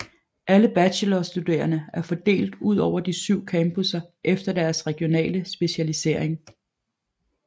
Alle bachelorstuderende er fordelt udover de syv campuser efter deres regionale specialisering